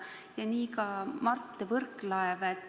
Ja nii ka Mart Võrklaev.